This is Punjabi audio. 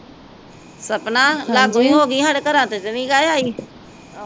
ਸਪਨਾ ਲਾਗੋ ਹੀ ਹੋਗੀ, ਸਾਡੇ ਘਰਾਂ ਤੇ ਤਾ ਨੀ ਜਾ ਆਈ